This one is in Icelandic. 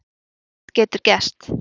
Allt getur gerst